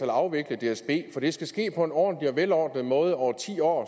afvikle dsb for det skal ske på en ordentlig og velordnet måde over ti år